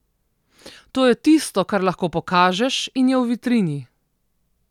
To je tisto, kar lahko pokažeš in je v vitrini.